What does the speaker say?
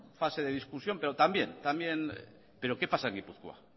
fase de discusión pero también también pero qué pasa en gipuzkoa